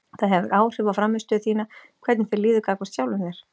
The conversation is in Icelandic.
Það hefur áhrif á frammistöðu þína hvernig þér líður gagnvart sjálfum þér.